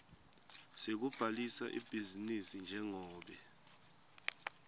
sekubhalisa ibhizinisi njengobe